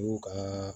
N'u ka